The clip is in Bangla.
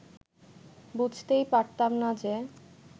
বুঝতেই পারতাম না যে